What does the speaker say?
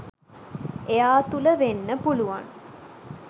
එයා තුළ වෙන්න පුළුවන්